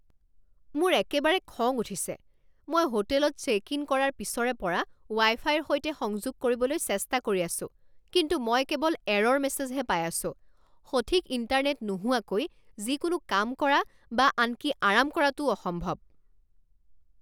মোৰ একেবাৰে খং উঠিছে! মই হোটেলত চে'ক ইন কৰাৰ পিছৰে পৰা ৱাই ফাইৰ সৈতে সংযোগ কৰিবলৈ চেষ্টা কৰি আছো কিন্তু মই কেৱল এৰ'ৰ মেছেজ হে পাই আছো। সঠিক ইণ্টাৰনেট নোহোৱাকৈ যিকোনো কাম কৰা বা আনকি আৰাম কৰাটোও অসম্ভৱ।